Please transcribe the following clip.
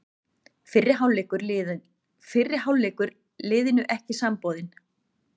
Fyrri hálfleikur liðinu ekki samboðinn